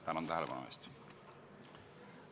Tänan tähelepanu eest!